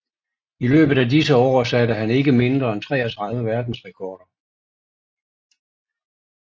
I løbet af disse år satte han ikke mindre end 33 verdensrekorder